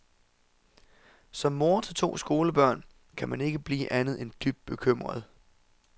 Som mor til to skolebørn kan man ikke blive andet end dybt bekymret.